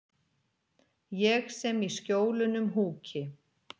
Ég sem í Skjólunum húki.